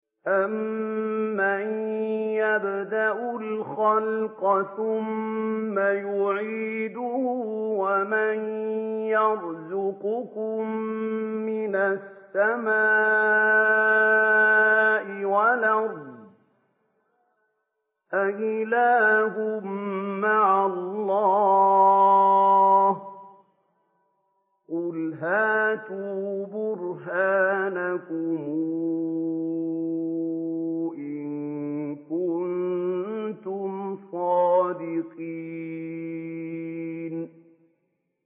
أَمَّن يَبْدَأُ الْخَلْقَ ثُمَّ يُعِيدُهُ وَمَن يَرْزُقُكُم مِّنَ السَّمَاءِ وَالْأَرْضِ ۗ أَإِلَٰهٌ مَّعَ اللَّهِ ۚ قُلْ هَاتُوا بُرْهَانَكُمْ إِن كُنتُمْ صَادِقِينَ